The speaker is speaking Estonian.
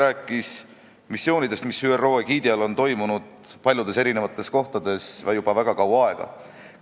Ta rääkis missioonidest, mis ÜRO egiidi all on toimunud paljudes erinevates kohtades juba väga kaua aega.